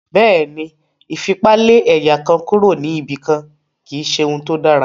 Bẹ́ẹ̀ ni, ìfipá lé ẹ̀yà kan kúrò níbi kan kì í ṣe ohun tó dáa